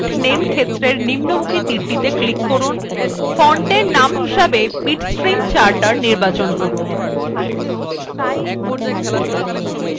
এরজন্য font name ক্ষেত্রের নিম্নমুখী তীরটিত়ে click করুন fontarrow name হিসাবে bitstream charter নির্বাচন করুন